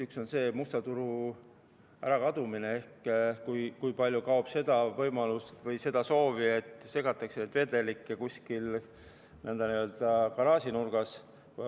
Üks on musta turu ärakadumine ehk kuivõrd kaob võimalus või soov vedelikke segada kuskil n-ö garaažinurgas.